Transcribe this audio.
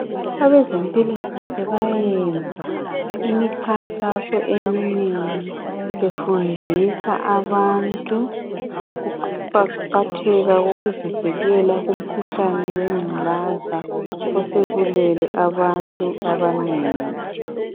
Abezempilakahle bayayenza imikhankaso eminengi befundisa abantu ngokuqakatheka kokuzivikela kumkhuhlane wengculaza osubulele abantu abanengi .